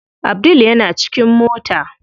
Abdul yana cikin mota.